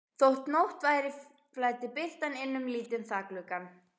Þótt nótt væri flæddi birtan inn um lítinn þakgluggann.